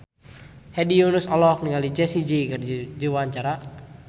Hedi Yunus olohok ningali Jessie J keur diwawancara